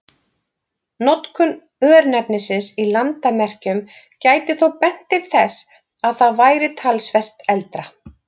Notkun örnefnisins í landamerkjum gæti þó bent til þess að það væri talsvert eldra.